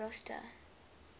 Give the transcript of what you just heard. rosta